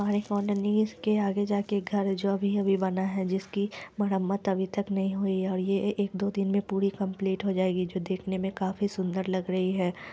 के आगे जाके घर जो अभी - अभी बना है जिसकी मरम्मत अभी तक नहीं हुई है और ये एक दो दिन मे पूरी कम्प्लीट हो जाएगी जो देखने मे काफी सुंदर लग रही है।